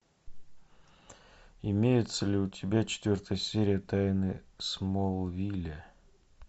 имеется ли у тебя четвертая серия тайны смолвиля